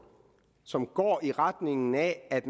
som går i retning af at